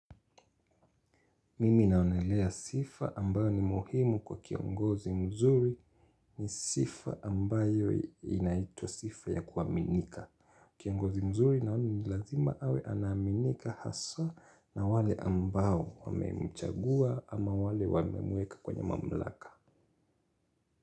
Mimi naonelea sifa ambayo ni muhimu kwa kiongozi mzuri ni sifa ambayo inaitrwa sifa ya kuaminika. Kiongozi mzuri naona ni lazima awe anaaminika haswa na wale ambao wamemchagua ama wale wamemweka kwenye mamlaka.